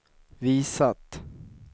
visat